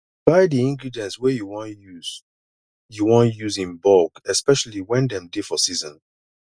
buy di ingredients wey you wan use you wan use in bulk especially when dem dey for season